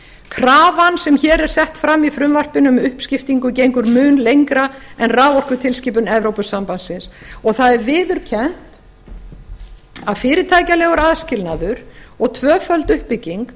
krafan sem hér er sett fram í frumvarpinu um uppskiptingu gengur lengra en raforkutilskipun evrópusambandsins og það er viðurkennt að fyrirtækjalegur aðskilnaður og